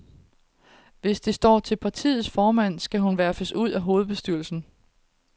Hvis det står til partiets formand, skal hun verfes ud af hovedbestyrelsen.